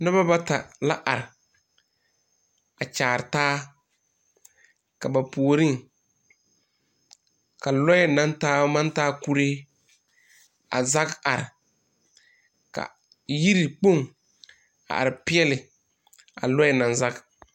Noba bata la are a kyaaretaa ka ba puoriŋ ka lɔɛ naŋ taa maŋ taa kuree a zage are ka yirikpoŋ are peɛle a lɔɛ naŋ zage.